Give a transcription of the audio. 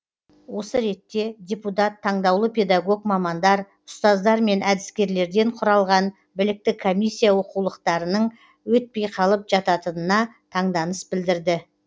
осы ретте депутат таңдаулы педагог мамандар ұстаздар мен әдіскерлерден құралған білікті комиссия оқулықтарының өтпей қалып жататынына таңданыс білдірді